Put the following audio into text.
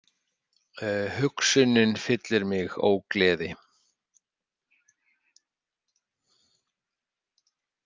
Hugsunin fyllir mig ógleði.